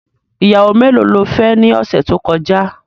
Ìyàwó melo ló fẹ́ ni ọ̀sẹ̀ tó kọjá?.